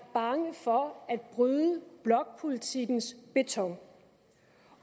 bange for at bryde blokpolitikkens beton